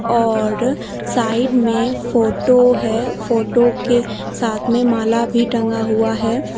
और साइड में फोटो है फोटो के साथ में माला भी टंगा हुआ है।